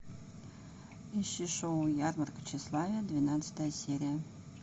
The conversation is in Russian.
ищи шоу ярмарка тщеславия двенадцатая серия